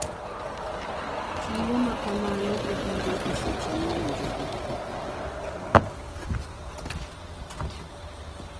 Chiwo makamano obiro e seche mowinjore.